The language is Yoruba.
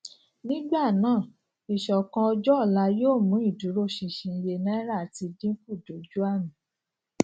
nígbà náà ìṣòkan ọjọ ọla yóò mú ìdúróṣinṣin iye náírà ti dínkù dojú àmì